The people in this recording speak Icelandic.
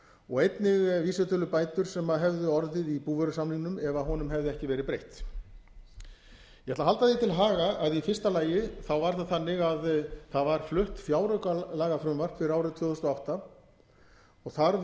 og einnig vísitölubætur sem hefðu orðið í búvörusamningnum ef honum hefði ekki verið breytt ég ætla að halda því til haga að í fyrsta lagi var það þannig að það var flutt fjáraukalagafrumvarp fyrir árið tvö þúsund og átta og þar